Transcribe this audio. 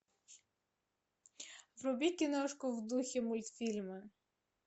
вруби киношку в духе мультфильма